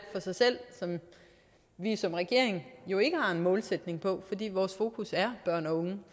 for sig selv som vi som regering jo ikke har nogen målsætning for fordi vores fokus er børn og unge